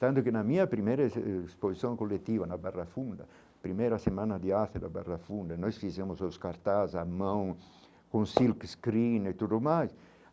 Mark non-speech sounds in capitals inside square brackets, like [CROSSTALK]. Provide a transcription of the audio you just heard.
Tanto que na minha primeira [UNINTELLIGIBLE] exposição coletiva, na Barra Funda, a primeira semana de arte da Barra Funda, nós fizemos os cartazes à mão, com silkscreen e tudo mais.